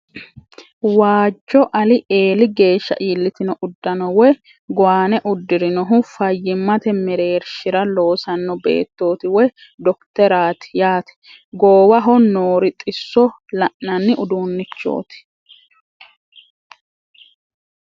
Waajjo ali eeli geeshsha iillitino uddano woy gowaane uddirinohu fayyimate mereershira loosanno beettooti woy dokiteraati yaate goowaho noori xisso la'nanni uduunnichooti.